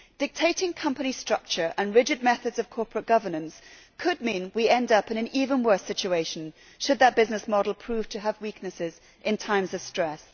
Dictating company structure and rigid methods of corporate governance could mean we end up in an even worse situation, should that business model prove to have weaknesses in times of stress.